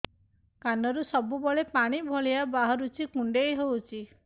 କାନରୁ ସବୁବେଳେ ପାଣି ଭଳିଆ ବାହାରୁଚି କୁଣ୍ଡେଇ ହଉଚି